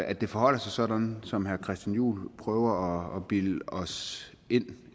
at det forholder sig sådan som herre christian juhl prøver at bilde os ind